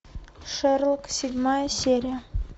шерлок седьмая серия